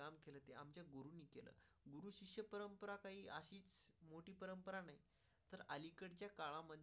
मोठी परंपरा नाही तर अलीकडच्या काळामध्ये.